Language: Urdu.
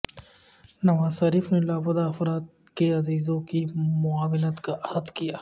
نواز شریف نے لاپتہ افراد کے عزیزوں کی معاونت کا عہد کیا